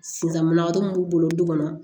Sisan mana yɔrɔ mun b'u bolo du kɔnɔ